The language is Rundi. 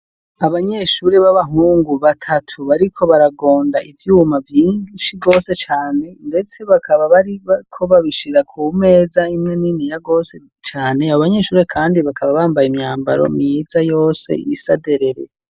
Abanyeshure b'abahungu batatu bariko baragonda ivyuma vyinshi gose cane, ndetse bakaba bariko babishira ku meza imwe niniya gose cane, abo abanyeshure kandi bakaba bambaye imyambaro myiza yose isa derere.